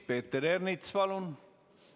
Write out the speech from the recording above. Peeter Ernits, palun!